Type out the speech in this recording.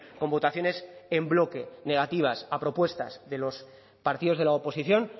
con votaciones en bloque negativas a propuestas de los partidos de la oposición